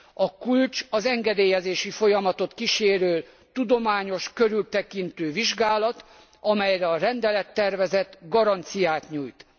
A kulcs az engedélyezési folyamatot kísérő tudományos, körültekintő vizsgálat, amire a rendelettervezet garanciát nyújt.